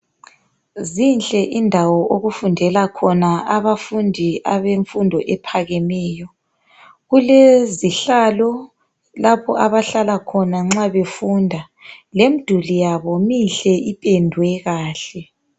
Zinhle indawo okufundela khona abafundi abemfundo ephakemeyo kulezihlalo lapho abahlala khona nxa befunda lemduli yabo minhle ipendwe kahle